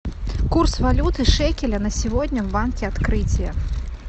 курс валюты шекеля на сегодня в банке открытие